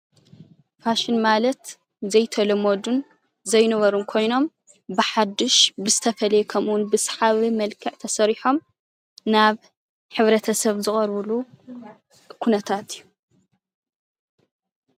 ፋሽን ማለት ዘይተለመዱን ዘይነበሩን ኮይኖም ብሓዱሽ ብዝተፈለየ ከምኡ እዉን ብሰሓብን መልክዕ ተሰሪሖም ናብ ሕብረተሰብ ዝቐርብሉ ኩነታት እዩ።